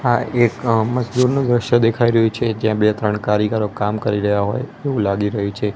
આ એક અ મસદુરનું દ્રશ્ય દેખાય રહ્યું છે જ્યાં બે ત્રણ કારીગરો કામ કરી રહ્યા હોય એવું લાગી રહ્યું છે.